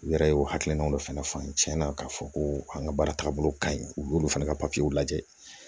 U yɛrɛ ye o hakilinaw de fɛnɛ fɔ tiɲɛnna k'a fɔ ko an ka baara taagabolo ka ɲi u y'olu fana ka papiyew lajɛ